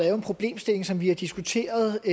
er en problemstilling som vi har diskuteret